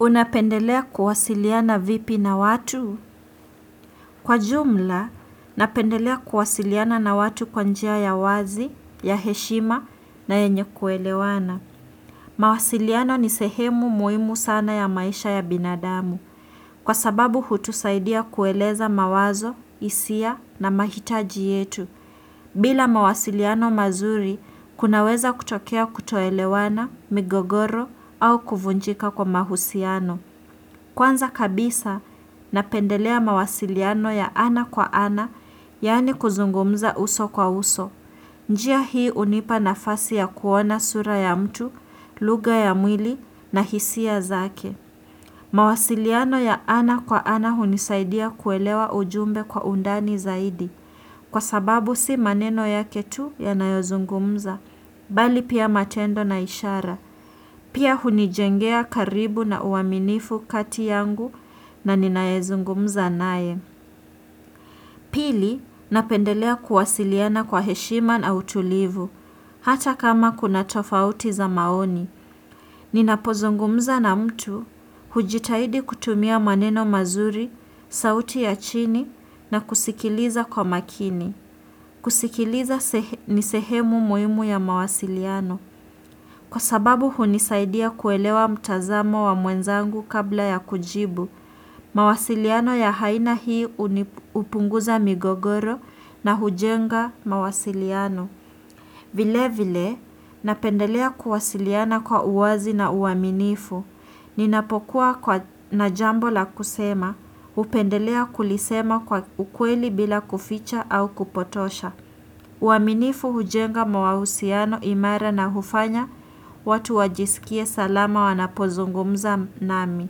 Unapendelea kuwasiliana vipi na watu? Kwa jumla, napendelea kuwasiliana na watu kwa njia ya wazi, ya heshima na enye kuelewana. Mawasiliano ni sehemu muimu sana ya maisha ya binadamu, kwa sababu hutusaidia kueleza mawazo, isia na mahitaji yetu. Bila mawasiliano mazuri, kunaweza kutokea kutoelewana, migogoro au kuvunjika kwa mahusiano. Kwanza kabisa, napendelea mawasiliano ya ana kwa ana, yaani kuzungumza uso kwa uso. Njia hii unipa nafasi ya kuona sura ya mtu, luga ya mwili na hisia zake. Mawasiliano ya ana kwa ana hunisaidia kuelewa ujumbe kwa undani zaidi Kwa sababu si maneno yake tu ya nayozungumza Bali pia matendo na ishara Pia hunijengea karibu na uaminifu kati yangu na ninayezungumza naye Pili, napendelea kuwasiliana kwa heshima na utulivu Hata kama kuna tofauti za maoni Ninapozungumza na mtu hujitahidi kutumia maneno mazuri, sauti ya chini na kusikiliza kwa makini. Kusikiliza ni sehemu muimu ya mawasiliano. Kwa sababu hunisaidia kuelewa mtazamo wa mwenzangu kabla ya kujibu. Mawasiliano ya haina hii upunguza migogoro na hujenga mawasiliano. Vile vile, napendelea kuwasiliana kwa uwazi na uaminifu. Ninapokuwa na jambo la kusema, upendelea kulisema kwa ukweli bila kuficha au kupotosha. Uaminifu hujenga mawahusiano imara na hufanya, watu wajisikie salama wanapozungumza nami.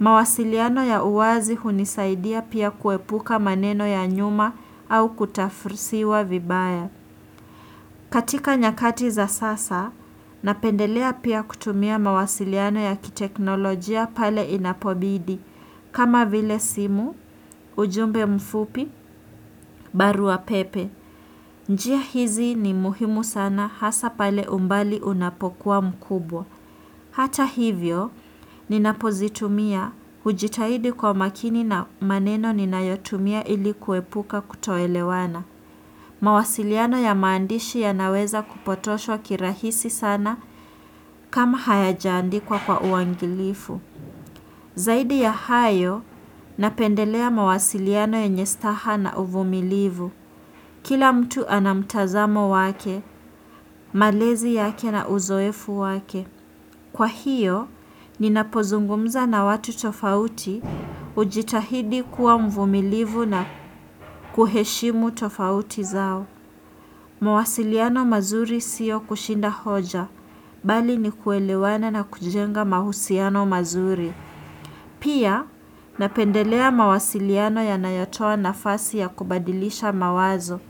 Mawasiliano ya uwazi hunisaidia pia kuepuka maneno ya nyuma au kutafursiwa vibaya. Katika nyakati za sasa, napendelea pia kutumia mawasiliano ya kiteknolojia pale inapobidi, kama vile simu, ujumbe mfupi, barua pepe. Njia hizi ni muhimu sana hasa pale umbali unapokuwa mkubwa. Hata hivyo, ninapozitumia hujitahidi kwa makini na maneno ninayotumia ili kuepuka kutoelewana. Mawasiliano ya maandishi yanaweza kupotoshwa kirahisi sana kama hayajaandikwa kwa uangilifu. Zaidi ya hayo, napendelea mawasiliano yenye staha na uvumilivu. Kila mtu anamtazamo wake, malezi yake na uzoefu wake. Kwa hiyo, ninapozungumza na watu tofauti hujitahidi kuwa mvumilivu na kuheshimu tofauti zao. Mawasiliano mazuri siyo kushinda hoja, bali ni kuelewana na kujenga mahusiano mazuri. Pia, napendelea mawasiliano yanayotoa nafasi ya kubadilisha mawazo.